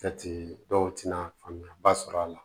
Kɛti dɔw tɛna faamuya ba sɔrɔ a la